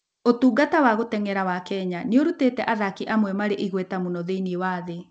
Ũtungata wa gũteng'era wa Kenya nĩ ũrutĩte athaki amwe marĩ igweta mũno thĩinĩ wa thĩ.